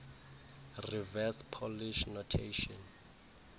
reverse polish notation